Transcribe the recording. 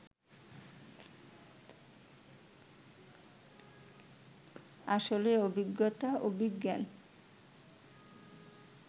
আসলে অভিজ্ঞতা, অভিজ্ঞান